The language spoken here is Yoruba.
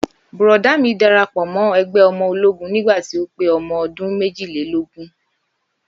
Bùrọ̀dá mi darapọ̀ mọ́ ẹgbẹ́ ológun nígbà tí ó pé ọmọ ọdún méjìlélógún